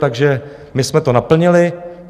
Takže my jsme to naplnili.